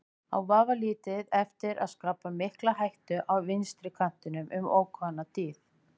Á vafalítið eftir að skapa mikla hættu á vinstri kantinum um ókomna tíð.